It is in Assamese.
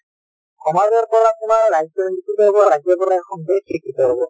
সমাজৰ পৰা তোমাৰ ৰাজ্য শিক্ষিত হব, ৰাজ্যৰ পৰা এখন দেশ শিক্ষিত হব